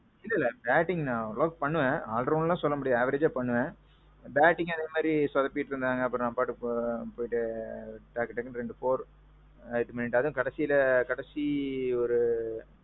இல்ல இல்ல batting நான் ஓரளவுக்கு பண்ணுவேன் all rounderலாம் சொல்ல முடியாது averageஅ பண்ணுவேன். battingம் அதே மாறி சொதப்பீட்டு இருந்தாங்க அப்பறோம் நான் பாட்டுக்கு போயிட்டு டக்கு டக்குன்னு ரெண்டு four, அதுவும் கடைசீல கடைசி ஒரு.